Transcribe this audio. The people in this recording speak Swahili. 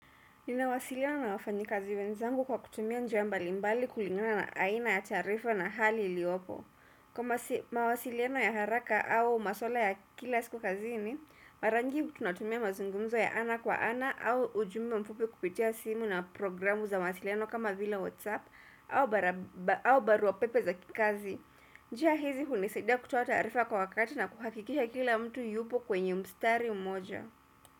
Ninawasiliana na wafanyikazi wenzangu kwa kutumia njia mbali mbali kulingana na aina ya tarifa na hali liopo. Kwa mawasiliano ya haraka au maswala ya kila siku kazi ni, mara nyingi tunatumia mazungumzo ya ana kwa ana au ujumbe mfupi kupitia simu na programu za mawasiliano kama vila whatsapp au barua pepe za kikazi. Njia hizi hunisaidia kutuota tarifa kwa wakati na kuhakikisha kila mtu yupo kwenye mstari mmoja.